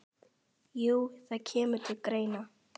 Jú, það kemur til greina.